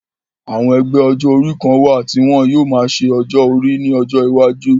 Àwọn ẹgbẹ́ ọjọ́ orí kan wà tí wọ́n yóò máa ṣe ọjọ́ orí ní ọjọ iwájú